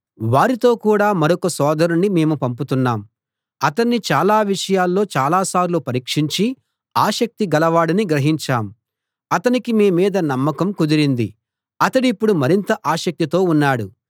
వారితో కూడా మరొక సోదరుణ్ణి మేము పంపుతున్నాం అతన్ని చాలా విషయాల్లో చాలా సార్లు పరీక్షించి ఆసక్తి గలవాడని గ్రహించాం అతనికి మీమీద నమ్మకం కుదిరింది అతడిప్పుడు మరింత ఆసక్తితో ఉన్నాడు